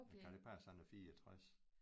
Kan det passe han er 64